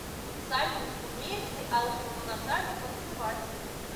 салют умеет ли алымова наталья танцевать